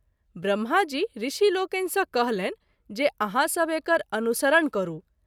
ब्रम्हा जी ऋषि लोकनि सँ कहलनि जे आहाँ सभ एकर अनुसरण करू।